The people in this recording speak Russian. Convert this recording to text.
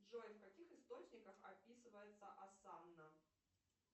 джой в каких источниках описывается асана